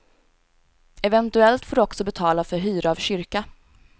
Eventuellt får du också betala för hyra av kyrka.